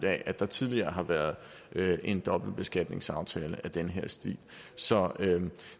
at der tidligere har været en dobbeltbeskatningsaftale i den her stil så